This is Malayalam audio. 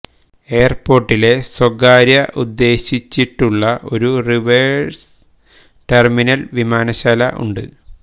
എയർ പോർട്ടിലെ സ്വകാര്യ ഉദ്ദേശിച്ചിട്ടുള്ള ഒരു റിവേഴ്സ് ടെർമിനൽ വിമാനശാല ഉണ്ട്